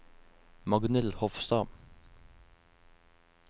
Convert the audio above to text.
Magnhild Hofstad